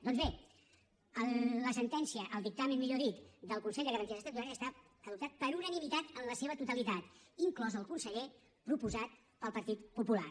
doncs bé la sentència el dictamen millor dit del consell de garanties estatutàries ha estat adoptat per unanimitat en la seva totalitat inclòs el conseller proposat pel partit popular